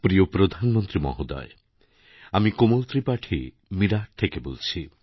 প্রিয় প্রধানমন্ত্রী মহোদয় আমি কোমল ত্রিপাঠীমীরাট থেকে বলছি